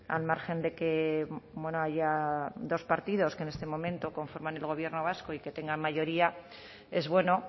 al margen de que haya dos partidos que en este momento conforman el gobierno vasco y que tengan mayoría es bueno